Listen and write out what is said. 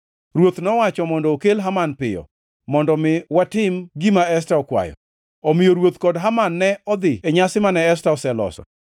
Ruoth nowacho mondo okel Haman piyo, mondo mi watim gima Esta okwayo. Omiyo ruoth kod Haman ne odhi e nyasi mane Esta oseloso.